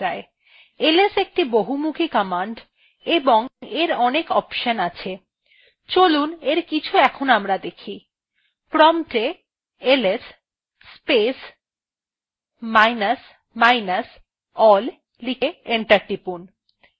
ls একটি খুব বহমুখি command এবং এর অনেক option আছে চলুন এর কিছু আমরা দেখি prompt a ls space minus minus all লিখে enter টিপুন